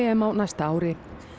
næsta ári